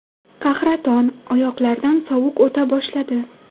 Qahraton, oyoqlardan sovuq o‘ta boshladi.